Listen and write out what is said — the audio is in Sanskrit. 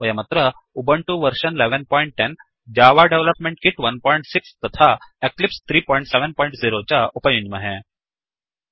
वयमत्र Ubuntu version 1110 Java development kit 16 तथा एक्लिप्स 370 च उपयुञ्ज्महे